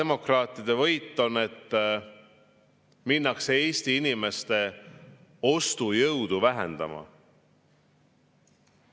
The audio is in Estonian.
Mis nende võit on, kui minnakse Eesti inimeste ostujõudu vähendama?